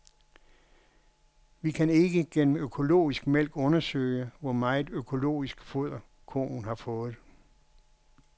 Vi kan ikke gennem økologisk mælk undersøge, hvor meget økologisk foder koen har fået.